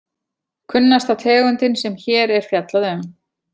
Kunnasta tegundin sem hér er fjallað um.